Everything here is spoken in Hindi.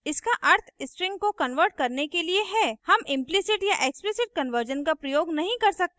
इसका अर्थ strings को converting करने के लिए है हम implicit या explicit कन्वर्जन का प्रयोग नहीं कर सकते हैं